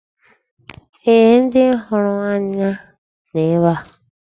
Ee, ndị hụrụ anyị nọ ebe a.